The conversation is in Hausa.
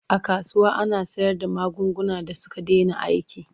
A kasuwa ana sayarda magunguna da suka dena aiki.